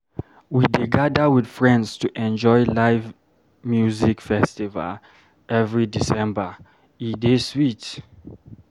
We dey gather with friends to enjoy live music festival every December, e dey sweet.